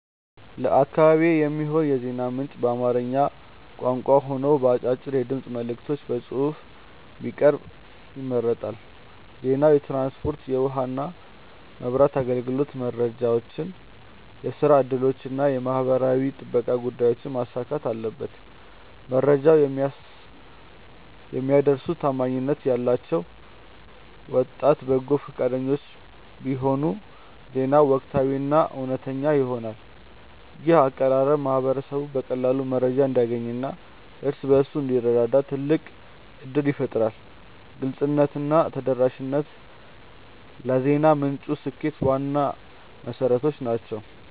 ለአካባቢዬ የሚሆን የዜና ምንጭ በአማርኛ ቋንቋ ሆኖ በአጫጭር የድምፅ መልዕክቶችና በጽሑፍ ቢቀርብ ይመረጣል። ዜናው የትራንስፖርት፣ የውኃና መብራት አገልግሎት መረጃዎችን፣ የሥራ ዕድሎችንና የማኅበራዊ ጥበቃ ጉዳዮችን ማካተት አለበት። መረጃውን የሚያደርሱት ታማኝነት ያላቸው ወጣት በጎ ፈቃደኞች ቢሆኑ ዜናው ወቅታዊና እውነተኛ ይሆናል። ይህ አቀራረብ ማኅበረሰቡ በቀላሉ መረጃ እንዲያገኝና እርስ በርሱ እንዲረዳዳ ትልቅ ዕድል ይፈጥራል። ግልጽነትና ተደራሽነት ለዜና ምንጩ ስኬት ዋና መሠረቶች ናቸው።